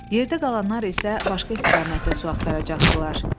Yerdə qalanlar isə başqa istiqamətdə su axtaracaqdılar.